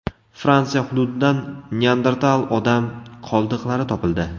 Fransiya hududidan Neandertal odam qoldiqlari topildi.